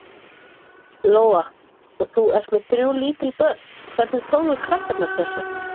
Lóa: Og þú ert með þrjú lítil börn, hvernig tóku krakkarnir þessu?